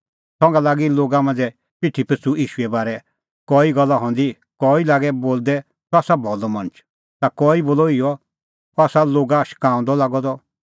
संघा लागी लोगा मांझ़ै पिठी पिछ़ू ईशूए बारै कई गल्ला हंदी कई लागै बोलदै सह आसा भलअ मणछ ता कई बोलअ इहअ अह हआ लोगा शकाऊंदअ लागअ द